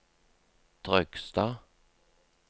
Trøgstad